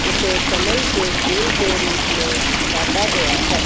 उसे कमल के फूल के रूप में काटा गया है।